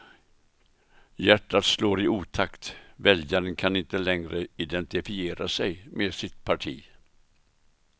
Hjärtat slår i otakt, väljaren kan inte längre identifiera sig med sitt parti.